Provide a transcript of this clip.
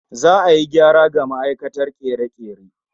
Za'a yi gyara ga ma'aikatar kere-kere